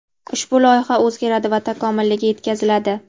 ushbu loyiha oʼzgaradi va takomiliga yetkaziladi.